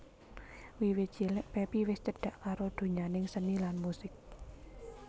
Wiwit cilik Pepi wis cedhak karo donyaning seni lan musik